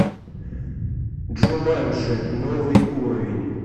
джуманджи новый уровень